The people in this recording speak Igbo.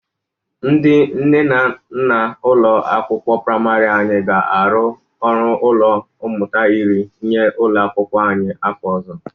Ndị nne na nna ụlọ akwụkwọ prịmarị anyị ga-arụ ọnụ ụlọ mmụta iri nye ụlọ akwụkwọ anyị n'afọ ọzọ.